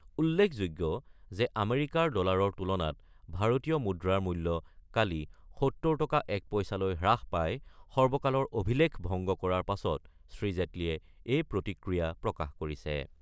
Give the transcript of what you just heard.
উল্লেখযোগ্য যে আমেৰিকাৰ ডলাৰৰ তুলনাত ভাৰতীয় মুদ্ৰাৰ মূল্য কালি ৭০ টকা ১ পইচালৈ হ্ৰাস পাই সৰ্বকালৰ অভিলেখ ভংগ কৰাৰ পাছত শ্ৰী জেটলিয়ে এই প্ৰতিক্ৰিয়া প্ৰকাশ কৰিছে।